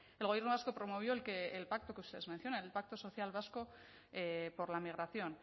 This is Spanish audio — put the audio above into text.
el gobierno vasco promovió el que el pacto que ustedes mencionan el pacto social vasco por la migración